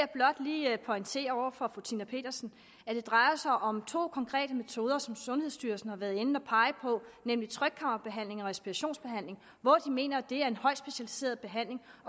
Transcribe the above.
blot lige pointere over for fru tina petersen at det drejer sig om to konkrete metoder som sundhedsstyrelsen har været inde at pege på nemlig trykkammerbehandling og respirationsbehandling hvor de mener at det er en højt specialiseret behandling